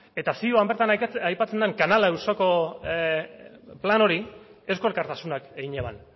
eta zioan bertan aipatzen den kanala auzoko plan hori eusko alkartasunak egin eban